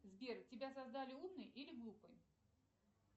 сбер тебя создали умный или глупый